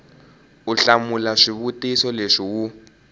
u hlamula swivutiso leswi wu